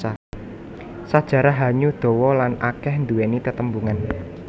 Sajarah Hanyu dawa lan akeh nduwèni tetembungan